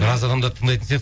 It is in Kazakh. біраз адамдарды тыңдайтын